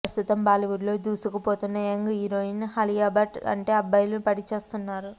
ప్రస్తుతం బాలీవుడ్లో దూసుకుపోతున్న యంగ్ హీరోయిన్ అలియా భట్ అంటే అబ్బాయిలు పడిచస్తున్నారు